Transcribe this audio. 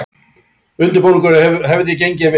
Undirbúningur hefði gengið vel